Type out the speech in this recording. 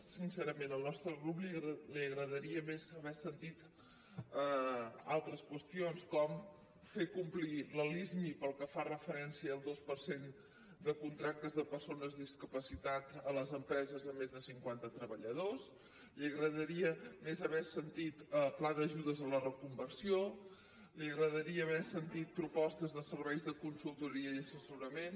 sincerament al nostre grup li agradaria més haver sentit altres qüestions com fer complir la lismi pel que fa referència al dos per cent de contractes de persones discapacitades a les empreses amb més de cinquanta treballadors li agradaria més haver sentit pla d’ajudes a la reconversió li agradaria haver sentit propostes de serveis de consultoria i assessorament